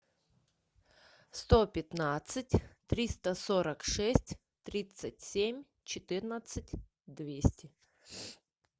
сто пятнадцать триста сорок шесть тридцать семь четырнадцать двести